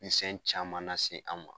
Misɛn caman nase an ma.